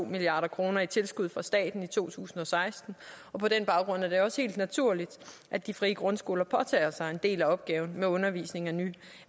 milliard kroner i tilskud fra staten i to tusind og seksten på den baggrund er det også helt naturligt at de frie grundskoler påtager sig en del af opgaven med undervisning af